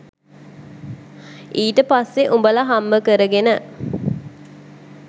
ඊට පස්සෙ උඹලා හම්බ කරගෙන